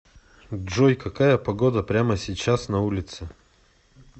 джой какая погода прямо сейчас на улице